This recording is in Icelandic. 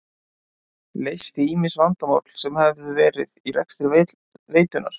Leysti ýmis vandamál sem höfðu verið í rekstri veitunnar.